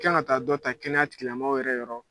I kan ka ta dɔ ta kɛnɛya tigila mɔɔw yɛrɛ yɔrɔ